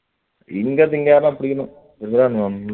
இங்கயிருந்து யாரையாவது புடிக்கணும்